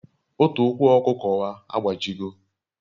Otu ukwu okuko wa agbajigo